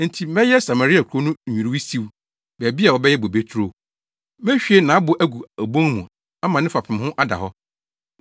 “Enti mɛyɛ Samaria kurow no nnwiriwii siw, baabi a wɔbɛyɛ bobe turo. Mehwie nʼabo agu obon mu ama ne fapem ho ada hɔ.